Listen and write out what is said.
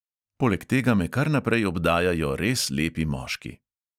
Poleg tega me kar naprej obdajajo res lepi moški.